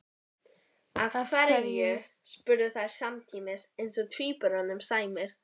Af hverju? spurðu þær samtímis eins og tvíburum sæmir.